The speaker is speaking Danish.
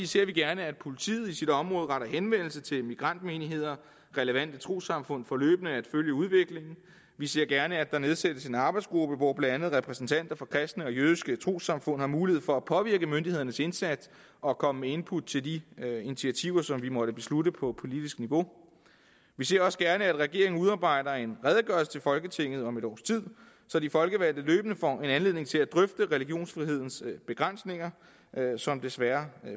ser vi gerne at politiet i sit område retter henvendelse til immigrantmenigheder og relevante trossamfund for løbende at følge udviklingen vi ser gerne at der nedsættes en arbejdsgruppe hvor blandt andet repræsentanter for kristne og jødiske trossamfund har mulighed for at påvirke myndighedernes indsats og komme med input til de initiativer som vi måtte beslutte på politisk niveau vi ser også gerne at regeringen udarbejder en redegørelse til folketinget om et års tid så de folkevalgte løbende får en anledning til at drøfte religionsfrihedens begrænsninger som desværre